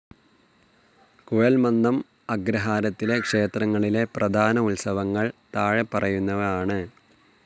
കുഴൽമന്ദം അഗ്രഹാരത്തിലെ ക്ഷേത്രങ്ങളിലെ പ്രധാന ഉത്സവങ്ങൾ താഴെപ്പറയുന്നവ ആണ്.